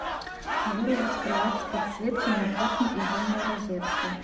вырубить кровать с подсветкой на кухне из умной розетки